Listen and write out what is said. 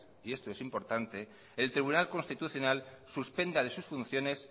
esto es importante el tribunal constitucional suspenda de sus funciones